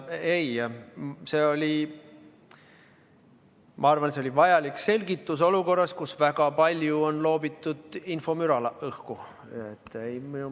Ei, ma arvan, et oli vajalik selgitus olukorras, kus õhku on heidetud väga palju infomüra.